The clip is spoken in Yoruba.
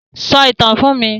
Sọ ìtàn fún mi!